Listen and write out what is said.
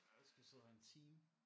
Og vi skal sidde her en time